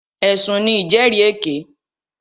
Ẹ̀sùn ní ìjẹ́rìèké.